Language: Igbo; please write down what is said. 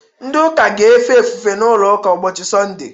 Ndị ụka ga-efe ofufe n’ụlọ ụka ụbọchị Sọnde